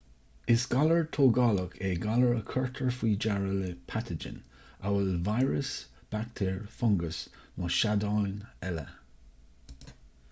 is galar tógálach é galar a chuirtear faoi deara le pataigin amhail víreas baictéar fungas nó seadáin eile